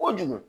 Kojugu